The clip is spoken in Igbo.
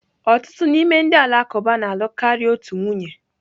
Ọtụtụ n'ime ndị Alakụba na-alụ karịa otu nwunye.